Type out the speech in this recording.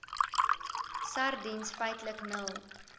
sardiens feitlik nul